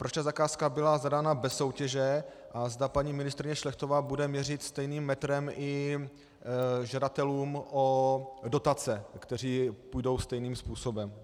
Proč ta zakázka byla zadána bez soutěže a zda paní ministryně Šlechtová bude měřit stejným metrem i žadatelům o dotace, kteří půjdou stejným způsobem.